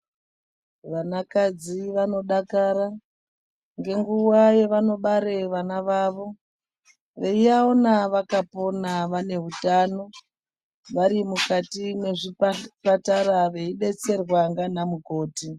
Vanakadzi vanodakara ngenguwa yavanobare vana vavo vaiaona vakapona vane utano varimukati mwezvipatara veidetserwa ndana mukoti.